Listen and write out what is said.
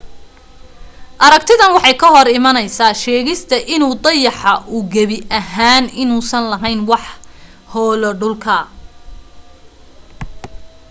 aragtidan waxay ka hor imanaysaasheegista in uu dayaxa uu gebi ahaan inuusan laheyn wax hoolo dhulka